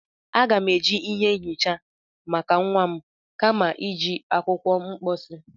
Aga m-eji ihe nhicha maka nwa m kama iji akwụkwọ mposi.